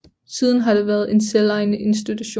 Siden har det været en selvejende institution